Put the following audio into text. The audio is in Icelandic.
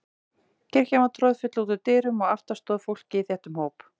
Kirkjan var troðfull út úr dyrum og aftast stóð fólkið í þéttum hóp.